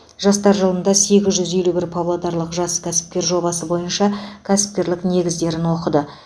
жастар жылында сегіз жүз елу бір павлодарлық жас кәсіпкер жобасы бойынша кәсіпкерлік негіздерін оқыды